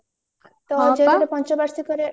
ତ ପଞ୍ଚ ବାର୍ଷିକରେ